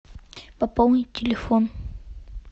пополнить телефон